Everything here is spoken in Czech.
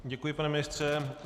Děkuji, pane ministře.